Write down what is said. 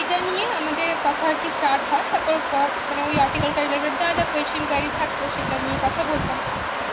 এই নিয়ে আমাদের কথা আর কি stared হয় তারপর article টার যা যা question থাকতো সেটা টা নিয়ে কথা বলতাম,